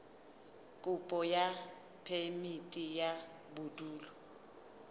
kopo ya phemiti ya bodulo